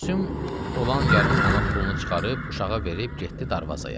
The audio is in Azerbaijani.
Gülsüm olan yarım manat pulunu çıxarıb uşağa verib getdi darvazaya.